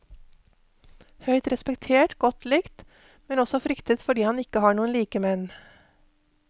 Høyt respektert, godt likt, men også fryktet fordi han ikke har noen likemenn.